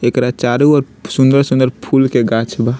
एकरा चारों ओर सूंदर-सूंदर फूल के गाछ बा।